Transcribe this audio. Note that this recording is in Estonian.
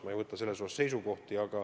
Ma ei võta selles osas seisukohta.